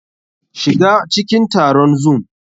SHiga cikin taron Zoom!